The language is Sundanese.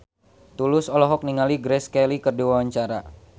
Tulus olohok ningali Grace Kelly keur diwawancara